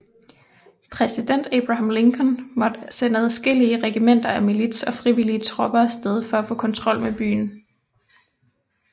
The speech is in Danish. Præsident Abraham Lincoln måtte sende adskillige regimenter af milits og frivillige tropper af sted for at få kontrol med byen